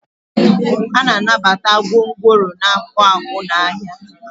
a na-anabata gwongworo na-akpụ akpụ n'ahịa